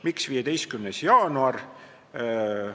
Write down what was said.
Miks 15. jaanuar?